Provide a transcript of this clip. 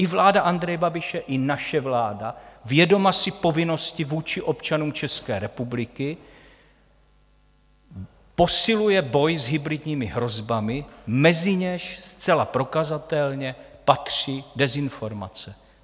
I vláda Andreje Babiše i naše vláda, vědoma si povinnosti vůči občanům České republiky, posiluje boj s hybridními hrozbami, mezi něž zcela prokazatelně patří dezinformace.